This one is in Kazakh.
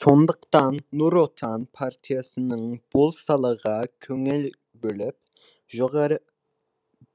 сондықтан нұр отан партиясының бұл салаға көңіл бөліп жоғары